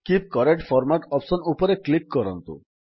keep current format option ଉପରେ click କରନ୍ତୁ